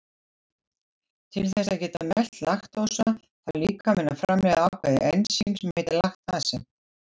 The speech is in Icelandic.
Til þess að geta melt laktósa þarf líkaminn að framleiða ákveðið ensím sem heitir laktasi.